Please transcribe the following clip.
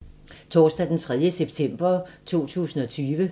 Torsdag d. 3. september 2020